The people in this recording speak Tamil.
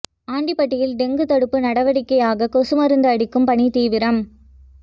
ஆண்டிபட்டியில் டெங்கு தடுப்பு நடவடிக்கையாக கொசு மருந்து அடிக்கும் பணி தீவிரம்